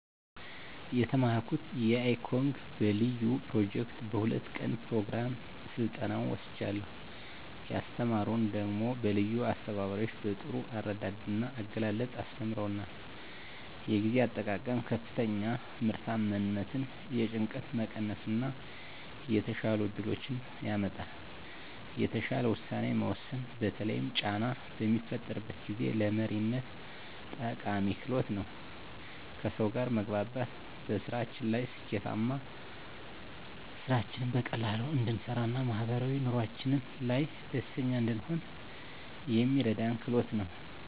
የተማረኩት icog በለዩ ኘሮጀክት በ2 ቀን ኘሮግራም ስልጠናዉን ወስጃለሁ። ያስተማሩን ደሞ በለዩ አስተባባሪዎች በጥሩ አረዳድ ና አገላለፅ አስተምረዉናል። የጊዜ አጠቃቀም ከፍተኛ ምርታማነትን፣ የጭንቀት መቀነስ እና የተሻሉ እድሎችን ያመጣል። የተሻለ ዉሳኔ መወሰን በተለይም ጫና በሚፈጠርበት ጊዜ፣ ለመሪነት ጠቃሚ ክህሎት ነዉ። ከሰዉ ጋር መግባባት በስራችን ላይ ስኬታማ፣ ስራችንን በቀላሉ እንድንሰራ ና ማህበራዊ ኑሮአችን ላይ ደስተኛ እንድንሆን የሚረዳን ክህሎት ነዉ።